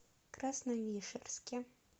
красновишерске